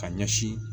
Ka ɲɛsin